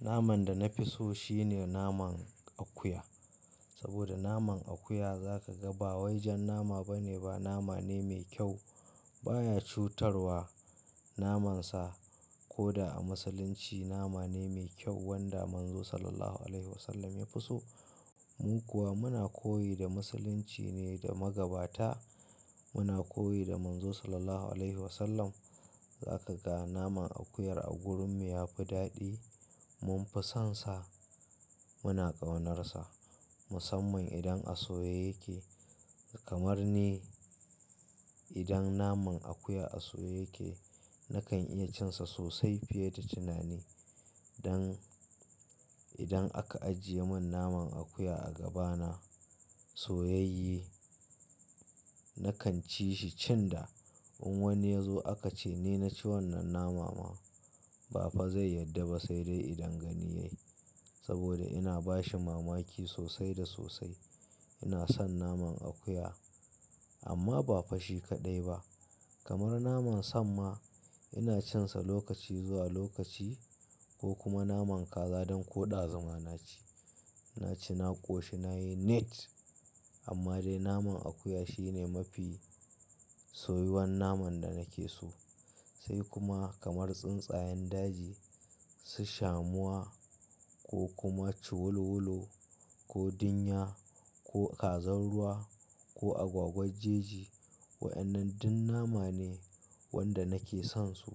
Naman da na fi so shine naman akuya. Saboda naman akuya za ka ga bawai jan nama ba ne ba, nama ne mai kyau. Ba ya cutarwa namansa. Koda a Musulunci nama ne mai kyau wanda Manzo Sallallahu Alaihi Wasallam ya fi so. Mu kuwa muna koyi da Musulunci ne da magabata. Muna koyi da Manzo Sallallahu Alaihi Wasallam. Za ka ga naman akuyar a gurin mu yafi daɗi. Mun fi sonsa, muna ƙaunarsa musamman idan a soye yake. Kamar ni idan naman akuya a soye yake nakan iya cinsa sosai fiye da tunani. Don idan aka ajiye mun naman akuya a gaba na soyayye, nakan ci shi cin da. In wani ya zo aka ce "ni na ci wannan nama ma ba fa zai yadda ba sai dai idan gani yayi. Saboda ina bashi mamaki sosai da sosai. Ina son naman akuya amma ba fashi kaɗai ba. Kamar naman samma ina cinsa lokaci zuwa lokaci ko kuma naman kaza donko ɗazuma naci. Naci, na ƙoshi, nayi nit amma dai naman akuya shi ne mafi soyuwan naman da nake so. Sai kuma kamar tsuntsayen daji, su shamuwa ko kuma ci wolo wolo, ko din ya, ko kazan ruwa ko, agwagwar jeji. Wa'annan duk nama ne wanda nake son su.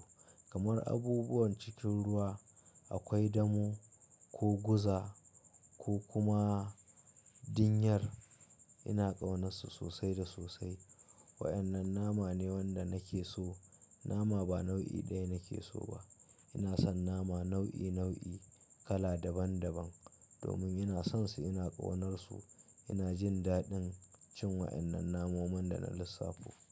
Kamar abubuwan cikin ruwa akwai damo ko guza ko kuma dinyar ina ƙaunassu sosai da sosai. Wa'yannan nama ne wanda nake so. Nama ba nau'i ɗaya nake so ba. Ina son nama nau'i nau'i, kala daban daban. Domin ina sonsu, ina ƙaunarsu, ina jin daɗin cin wa'yannan namomin da na lissafo.